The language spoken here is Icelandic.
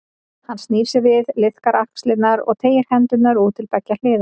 Hann snýr sér við, liðkar axlirnar og teygir hendurnar út til beggja hliða.